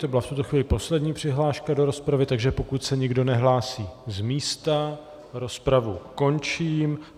To byla v tuto chvíli poslední přihláška do rozpravy, takže pokud se nikdo nehlásí z místa, rozpravu končím.